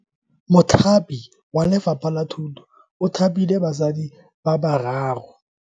Mothapi wa Lefapha la Thuto o thapile basadi ba ba raro.